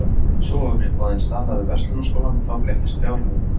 Svo var mér boðin staða við Verslunarskólann og þá breyttist fjárhagurinn.